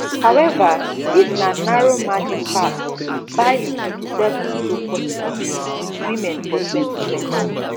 howeva dis na narrow margin pass biden 57 to 42 lead wit women for 2020